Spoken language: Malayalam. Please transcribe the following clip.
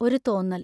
ഒരു തോന്നൽ.